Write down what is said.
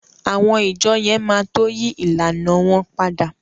Àwọn ìjọọ̀ yẹn máa tó yí ìlànàa wọn padà.